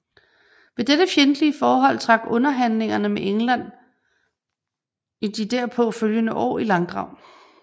Ved dette fjendtlige forhold trak underhandlingerne med England i de derpå følgende år i langdrag